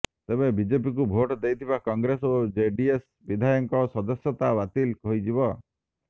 ତେବେ ବିଜେପିକୁ ଭୋଟ୍ ଦେଇଥିବା କଂଗ୍ରେସ ଓ ଜେଡିଏସ୍ ବିଧାୟକଙ୍କ ସଦସ୍ୟତା ବାତିଲ ହୋଇଯିବ